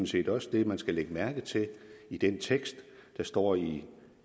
set også det man skal lægge mærke til i den tekst der står i